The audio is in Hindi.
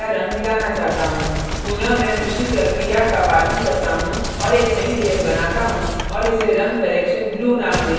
पुनः मैं उसी प्रक्रिया का पालन करता हूँ और एक नई layer बनाता हूँ और इसे रंग correction blue नाम देता हूँ